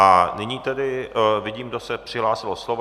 A nyní tedy vidím, kdo se přihlásil o slovo.